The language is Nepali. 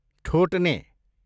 ठोट्ने